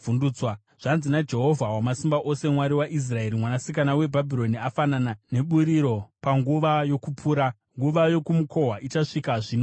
Zvanzi naJehovha Wamasimba Ose, Mwari waIsraeri: “Mwanasikana weBhabhironi afanana neburiro panguva yokupura; nguva yokumukohwa ichasvika zvino zvino.”